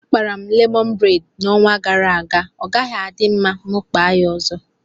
Akpara m lemọn bred ọnwa gara aga ọgaghị adị mma ma mụ kpaa ya ọzọ